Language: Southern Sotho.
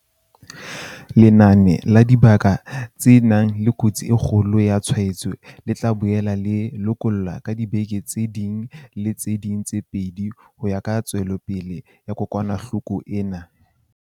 Lenane la dibaka tse nang le kotsi e kgolo ya tshwaetso le tla boela le lekolwa ka diveke tse ding le tse ding tse pedi ho ya ka tswelopele ya kokwanahloko ena.